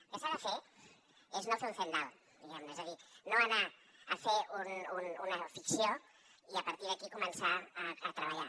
el que s’ha de fer és no fer un zendal diguemne és a dir no anar a fer una ficció i a partir d’aquí començar a treballar